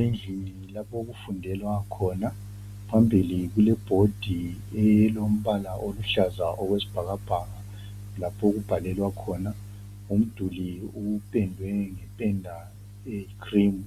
Endlini lapha okufundelwa khona phambili kulebhodi elombhala oluhlaza okwesibhakabhaka lapha okubhalelwa khona umduli uphendwe ngependa eyikhilimu